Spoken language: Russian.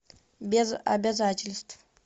без обязательств